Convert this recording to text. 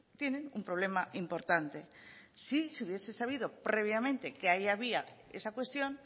tienen un problema importante si se hubiese sabido previamente que ahí había esa cuestión